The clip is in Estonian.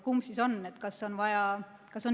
Kumb siis on?